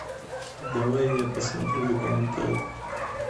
давай я посмотрю документалку